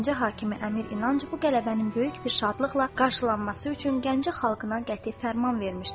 Gəncə hakimi Əmir İnanc bu qələbənin böyük bir şadlıqla qarşılanması üçün Gəncə xalqına qəti fərman vermişdi.